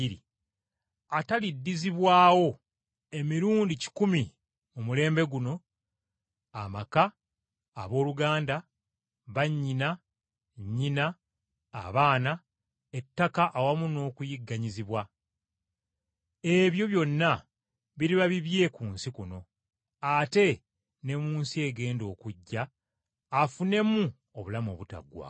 ataliddizibwawo emirundi kikumi mu mulembe guno amaka, abooluganda, bannyina, nnyina, abaana, ettaka awamu n’okuyigganyizibwa! Ebyo byonna biriba bibye ku nsi kuno, ate ne mu nsi egenda okujja afunemu obulamu obutaliggwaawo.